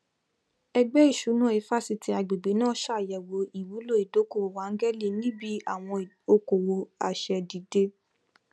ẹgbẹ ìṣúná ifásitì agbègbè náà n ṣàgbéyẹwò ìwúlò ìdókòwò ángẹlì níbi àwọn okòwò asẹdìde